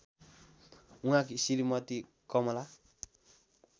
उहाँकी श्रीमती कमला